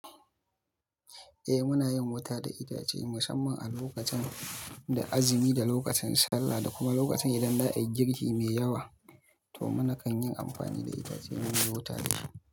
Eh muna yin wuta da itace musamman a lokacin da azumi da lokacin Sallah da kuma lokacin idan za a yi girki me yawa to muna kan yin amfani da itace muyi wuta da shi.